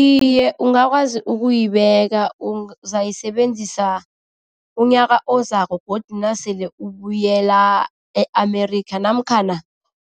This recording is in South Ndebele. Iye, ungakwazi ukuyibeka uzayisebenzisa unyaka ozako godu nasele ubuyela e-America namkhana